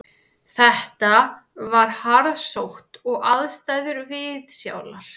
Þetta var harðsótt og aðstæður viðsjálar